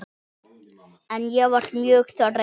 En ég var mjög þreytt.